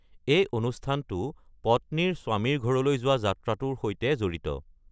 এই অনুষ্ঠানটো পত্নীৰ স্বামীৰ ঘৰলৈ যোৱা যাত্ৰাটোৰ সৈতে জড়িত।